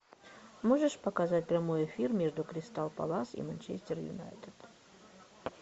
можешь показать прямой эфир между кристал пэлас и манчестер юнайтед